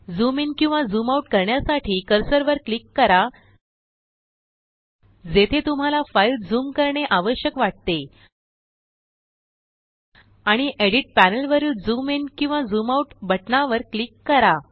zoom in किंवा zoom out करण्यासाठीकर्सरवर click कराजेथे तुम्हाला फाईलझूम करणे आवश्यक वाटतेआणि एडीट प्यानेलवरीलझूम इन किंवा झूम आउट बटणावर क्लिक करा